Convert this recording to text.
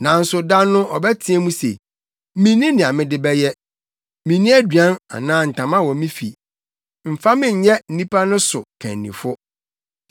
Nanso da no ɔbɛteɛ mu se, “Minni nea mede bɛyɛ. Minni aduan anaa ntama wɔ me fi; mfa me nyɛ nnipa no so kannifo.”